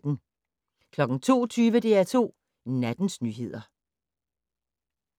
02:20: DR2 Nattens nyheder